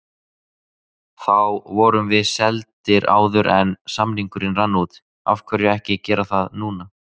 Þá vorum við seldir áður en samningurinn rann út, af hverju ekki gera það núna?